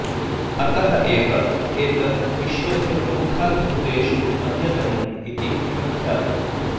अतः एव एतत् विश्वस्य प्रमुखाद्भुतेषु अन्यतमम् इति प्रख्यातम्